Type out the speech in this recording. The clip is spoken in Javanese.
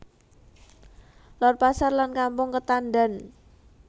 Lor Pasar lan Kampung Ketadan